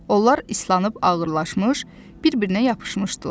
Onlar islanıb ağırlaşmış, bir-birinə yapışmışdılar.